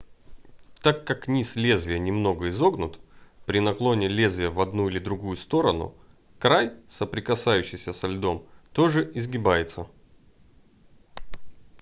так как низ лезвия немного изогнут при наклоне лезвия в одну или другую сторону край соприкасающийся со льдом тоже изгибается